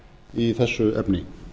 í þessu efni